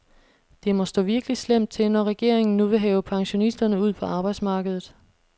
Det må stå virkelig slemt til, når regeringen nu vil have pensionisterne ud på arbejdsmarkedet.